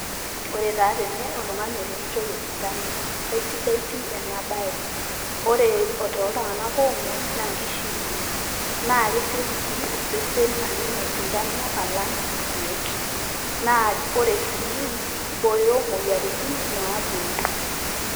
Ore taa tene, oltung'ani eremitoi osindano. Esidai pii enabae. Ore toltung'anak omuoi, na kishiunye. Na kesioki sii osesen aning' osindano, alang' irkeek. Naa ore sii, kibooyo moyiaritin, naponu.